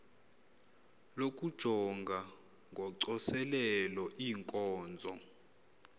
lokujonga ngocoselelo iinkonzo